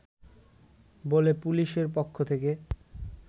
বলে পুলিশের পক্ষ থেকে